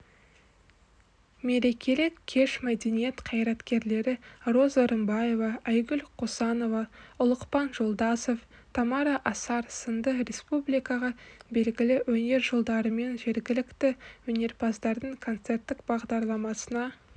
мерекелік кеш мәдениет қайраткерлері роза рымбаева айгүл қосанова ұлықпан жолдасов тамара асар сынды республикаға белгілі өнер жұлдарырымен жергілікті өнерпаздардың концерттік бағдарламасына